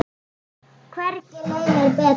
Hvergi leið mér betur.